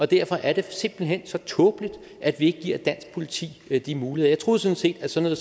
derfor er det simpelt hen så tåbeligt at vi ikke giver dansk politi de muligheder jeg troede sådan set at sådan